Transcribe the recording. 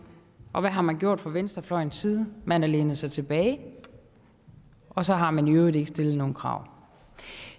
og hvad har man gjort fra venstrefløjens side man har lænet sig tilbage og så har man i øvrigt ikke stillet nogen krav